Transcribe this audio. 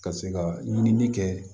Ka se ka ɲinili kɛ